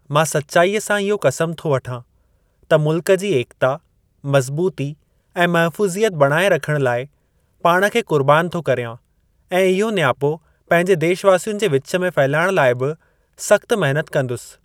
मां सच्‍चाई सां इहो क़सम थो वठां त मुल्‍क जी एकता, मज़बूती ऐं महफू़ज़ि‍यत बणाए रखण लाए पाण खे कु़र्बान थो करियां ऐं इहो नियापो पंहिंजे देशवासियुनि जे विच में फहिलाइणु लाइ भी सख्‍़त महिनत कंदुसि।